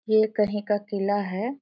ये कहीं का किला है।